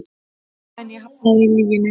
En ég hafnaði lyginni.